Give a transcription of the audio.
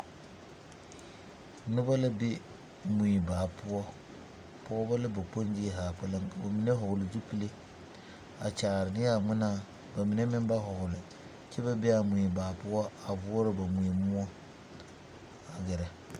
Noba la be mui baa poɔ pɔgeba la kpoŋzie zaa kpɛlem ka ba mine vɔgle zupili a kyaare ne a ŋmenaa ka ba mine meŋ ba vɔgle kyɛ ba be a mui baa poɔ a voɔrɔ ba mui moɔ a gɛrɛ.